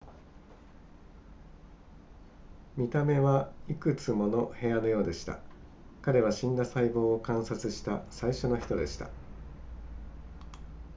見た目はいくつもの部屋のようでした彼は死んだ細胞を観察した最初の人でした